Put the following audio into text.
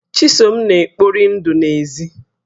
Chisom na-ekpori ndụ n'èzí